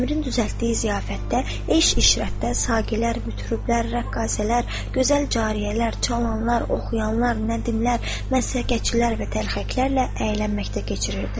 Əmirin düzəltdiyi ziyafətdə eş işrətdə saqilər mütüblər rəqqasələr gözəl cariyələr çalanlar oxuyanlar nədimlər məsələçilər və təlxəklərlə əylənməkdə keçirirdi.